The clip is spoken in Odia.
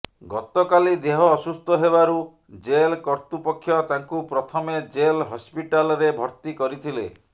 ଗତକାଲି ଦେହ ଅସୁସ୍ଥ ହେବାରୁ ଜେଲ କର୍ତ୍ତୃପକ୍ଷ ତାଙ୍କୁ ପ୍ରଥମେ ଜେଲ୍ ହସ୍ପିଟାଲ୍ରେ ଭର୍ତ୍ତି କରିଥିଲେ